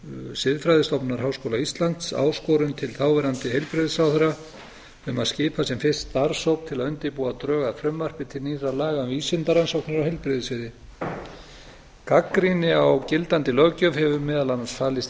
siðfræðistofnunar háskóla íslands áskorun til þáverandi heilbrigðisráðherra um að skipa sem fyrst starfshóp til að undirbúa drög að frumvarpi til nýrra laga um vísindarannsóknir á heilbrigðissviði gagnrýni á gildandi löggjöf hefur meðal annars falist í